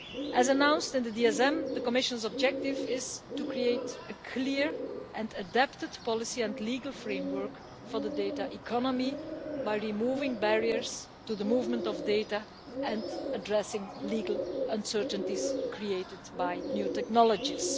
As announced in the DSM, the Commission's objective is to create a clear and adapted policy and legal framework for the data economy by removing barriers to the movement of data and addressing legal uncertainties created by new technologies.